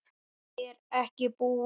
Ég er ekki búinn.